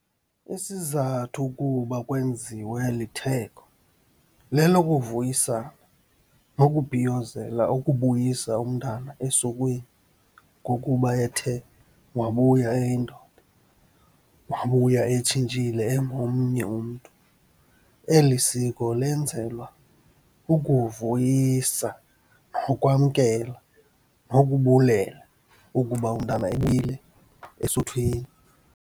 Isizathu ukuba kwenziwe eli theko lelokuvuyisana nokubhiyozela ukubuyisa umntana esukweni, ngokuba ethe wabuya eyindoda, wabuya etshintshile engomnye umntu. Eli siko lenzelwa ukuvuyisa nokwamkelwa nokubulela ukuba umntana esuthwini.